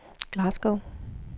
Glasgow